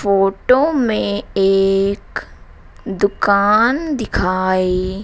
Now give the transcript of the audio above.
photo में एक दुकान दिखाई--